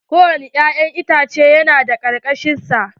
Ko wani ya'yan itace na da kakar sa.